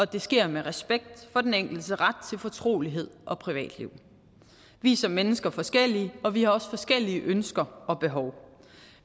det sker med respekt for den enkeltes ret til fortrolighed og privatliv vi er som mennesker forskellige og vi har også forskellige ønsker og behov